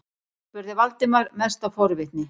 spurði Valdimar, mest af forvitni.